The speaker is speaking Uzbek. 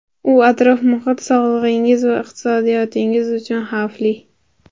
U atrof-muhit, sog‘lig‘ingiz va iqtisodiyotingiz uchun xavfli.